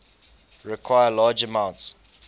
require large amounts